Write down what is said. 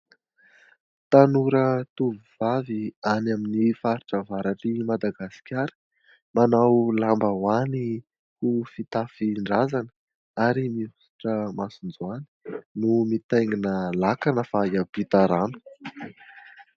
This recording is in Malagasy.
Tanora tovovavy any amin'ny faritra avaratr'i Madagasikara, manao lambaoany ho fitafin-drazana ary mihosotra masonjoany, no mitaingina lakana fa hiampita rano.